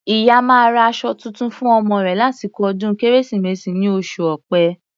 Ìyá máa ra aṣọ tuntun fún ọmọ rẹ̀ lásìkò ọdún Kérésìmesì ní oṣù Ọ̀pẹ.